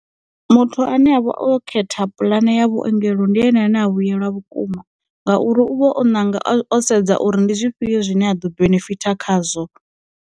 Muthu ane avha o khetha puḽane ya vhuongelo ndi yone na vhuyelwa vhukuma, ngauri u vha o nanga o sedza uri ndi zwifhio zwine a ḓo benefitha khazwo.